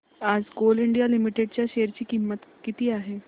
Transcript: आज Coal India Limited च्या share ची किंमत किती आहे